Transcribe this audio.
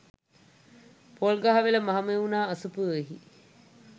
Polgahawela Mahamevnawa අසපුවෙහි